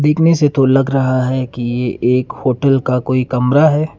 दिखने से तो लग रहा है कि ये एक होटल का कोई कमरा है।